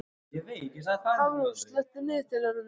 Hafrós, slökktu á niðurteljaranum.